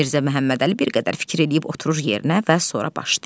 Mirzə Məhəmmədəli bir qədər fikir eləyib oturur yerinə və sonra başlayır.